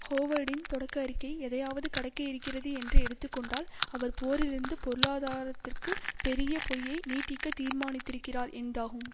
ஹோவர்டின் தொடக்க அறிக்கை எதையாவது கடக்க இருக்கிறது என்று எடுத்து கொண்டால் அவர் போரிலிருந்து பொருளாதாரத்திற்கு பெரிய பொய்யை நீட்டிக்க தீர்மானித்திருக்கிறார் என்தாகும்